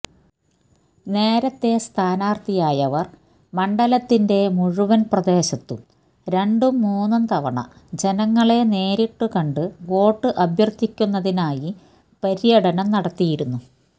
നേരത്തെ സ്ഥാനാര്ഥിയായവര് മണ്ഡലത്തിന്റെ മുഴുവന് പ്രദേശത്തും രണ്ടും മൂന്നും തവണ ജനങ്ങളെ നേരിട്ടു കണ്ടു വോട്ട് അഭ്യര്ഥിക്കുന്നതിനായി പര്യടനം നടത്തിയിരുന്നു